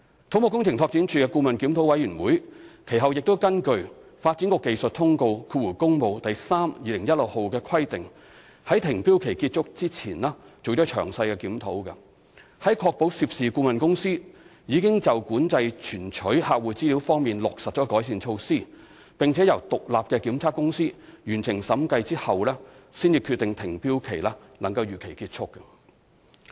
土木工程拓展署的顧問檢討委員會其後亦根據《發展局技術通告第 3/2016 號》的規定，在停標期結束前進行詳細檢討，在確保涉事顧問公司已就管制存取客戶資料方面落實改善措施，並由獨立檢測公司完成審計後，才決定停標期能夠如期結束。